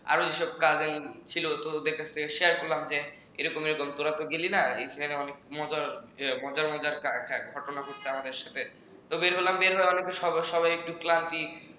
আরো এসব cousin ছিল তো ওদের কাছে share করলাম যে এরকম এরকম তোরা তো গেলি না অনেক মজার মজার ঘটনা ঘটছে আমাদের সাথে তো বের হলাম বের হয়ে অনেকে সবাই একটু ক্লান্তি